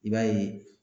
I b'a ye